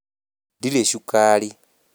Ndirĩ cukari